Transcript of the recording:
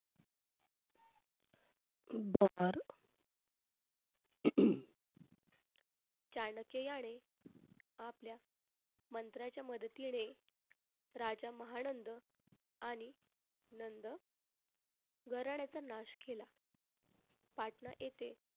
चाणक्य याने आपल्या मंत्र्याच्या मदतीने राजा महानंद आणि नंद घराण्याचा नाश केला पाटणा येथे.